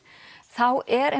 þá er